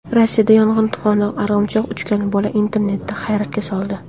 Rossiyada yong‘in fonida arg‘imchoq uchgan bola internetni hayratga soldi .